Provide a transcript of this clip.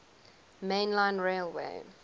main line railway